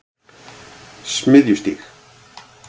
Smiðjustíg